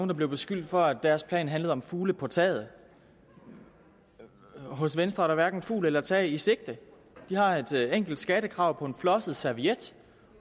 der blev beskyldt for at deres plan handlede om fugle på taget hos venstre er der hverken fugl eller tag i sigte de har et enkelt skattekrav på en flosset serviet